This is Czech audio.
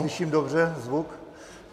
Slyším dobře zvuk?